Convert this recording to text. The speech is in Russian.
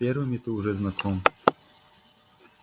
с первыми ты уже знаком